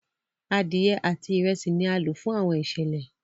Adiẹ ati Ìrẹsí ní a lo fún Àwọn iṣẹlẹ